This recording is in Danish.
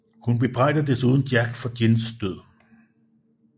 Hun bebrejder desuden Jack for Jins død